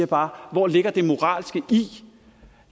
bare hvor ligger det moralske i